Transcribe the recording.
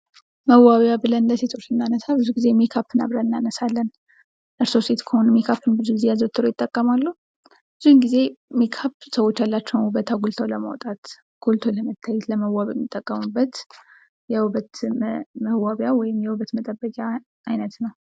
መዋቢያ ብለን ለሴቶች የምናነሳው ብዙ ጊዜ ሜካፕን አብረን እናነሳለን ። እርሶ ሴት ከሆኑ ሜካፕን ብዙ ጊዜ አዘውትረው ይጠቀማሉ ? ብዙውን ጊዜ ሜካፕ ሰዎች ያላቸውን ውበት አጉልቶ ለማውጣት፣ ጎርቶ ለመታየት ፣ ለመዋብ የሚጠቀሙበት የውበት መዋቢያ ወይም የውበት መጠበቂያ አይነት ነው ።